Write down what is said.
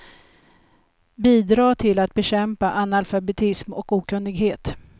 Bidra till att bekämpa analfabetism och okunnighet.